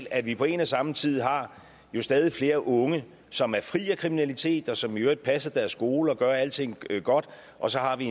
at vi på en og samme tid har stadig flere unge som er fri af kriminalitet og som i øvrigt passer deres skole og gør alting godt og så har vi